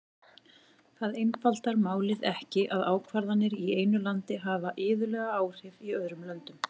Það einfaldar málið ekki að ákvarðanir í einu landi hafa iðulega áhrif í öðrum löndum.